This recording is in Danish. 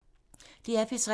DR P3